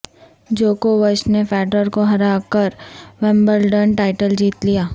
جوکووچ نے فیڈرر کو ہرا کر ومبلڈن ٹائٹل جیت لیا